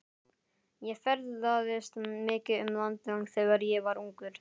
Ég ferðaðist mikið um landið þegar ég var ungur.